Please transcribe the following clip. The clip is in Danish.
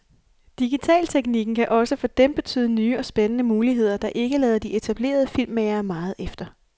Digitalteknikken kan også for dem betyde nye og spændende muligheder, der ikke lader de etablerede filmmagere meget efter.